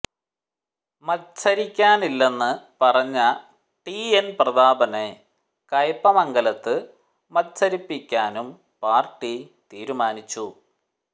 മത്സരിക്കാനില്ലെന്ന് പറഞ്ഞ T N പ്രതാപനെ കയ്പ്പമംഗലത്ത് മത്സരിപ്പിക്കാനും പാർട്ടി തീരുമാനിച്ചു